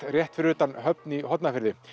rétt fyrir utan Höfn í Hornafirði